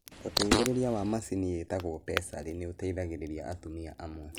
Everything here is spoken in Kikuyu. Ũteithĩrĩria wa macini yĩtagwo pessary nĩ ĩteithagia atumia amwe.